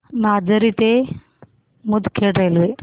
माजरी ते मुदखेड रेल्वे